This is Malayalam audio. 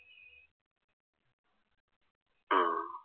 ഉം